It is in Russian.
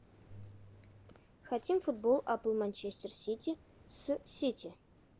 хотим футбол апл манчестер сити с сити